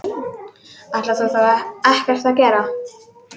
Ætlarðu þá ekkert að gera?